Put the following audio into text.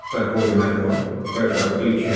похоже на то пожал плечами